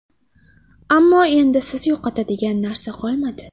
Ammo, endi sizda yo‘qotadigan narsa qolmadi.